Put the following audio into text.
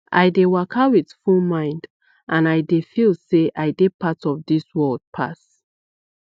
i dey waka with full mind and i dey feel say i dey part of this world pass